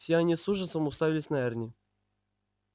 все они с ужасом уставились на эрни